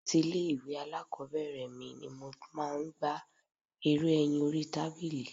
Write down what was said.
Láti ilé ìwé alákòbẹ̀rẹ̀ mi ni mo máa ń gbá eré ẹyin orí tábìlì.